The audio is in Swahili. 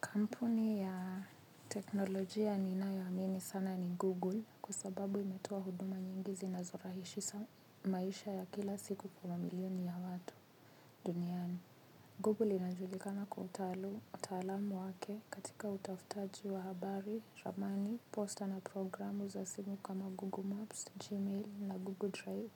Kampuni ya teknolojia ninayo amini sana ni Google kwa sababu inatoa huduma nyingi zinazo rahisisha maisha ya kila siku kwa mamilioni ya watu duniani. Google inajulikana kwa utaalamu wake katika utafutaji wa habari, ramani, posta na programu za simu kama Google Maps, Gmail na Google Drive.